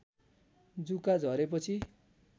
जुका झरे पछि